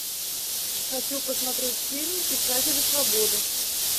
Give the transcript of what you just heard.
хочу посмотреть фильм писатели свободы